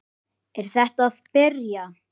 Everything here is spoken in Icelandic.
Er þetta að byrja?